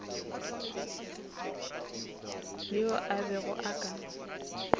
yo a bego a ka